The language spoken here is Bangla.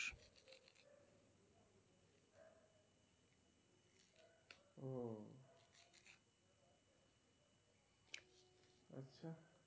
ও আচ্ছা।